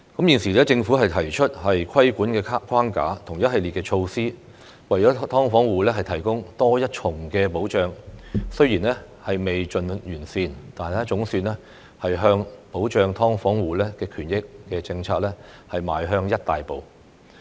現時政府提出規管框架和一系列措施，為"劏房戶"提供多一重保障，雖然未盡完善，但總算向保障"劏房戶"權益的政策邁向一大步。